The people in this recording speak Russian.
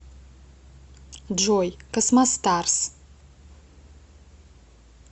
джой космостарс